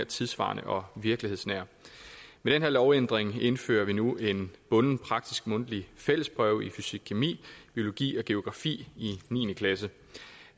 tidssvarende og virkelighedsnære med den her lovændring indfører vi nu en bunden praktisk mundtlig fællesprøve i fysikkemi biologi og geografi i niende klasse